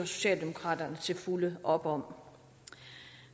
socialdemokraterne til fulde op om